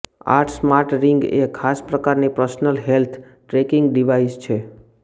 આ smart ring એ ખાસ પ્રકારની પર્સનલ હેલ્થ ટ્રેકિંગ ડિવાઈસ છે